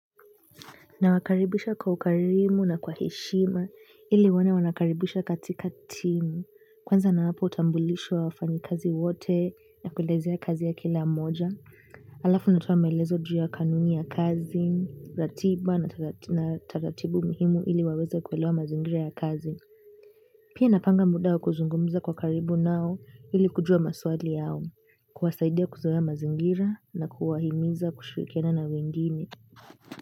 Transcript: Nawakaribisha kwa ukarimu na kwa heshima ili waone wanakaribishwa katika timu. Kwanza nawapa utambulisho wa wafanyakazi wote na kuelezea kazi ya kila mmoja. Halafu natoa maelezo ju ya kanuni ya kazi, ratiba na taratibu muhimu ili waweze kuelewa mazingira ya kazi. Pia napanga muda wa kuzungumiza kwa karibu nao ili kujua maswali yao. Kuwasaidia kuzoea mazingira na kuwahimiza kushirikiana na wengine.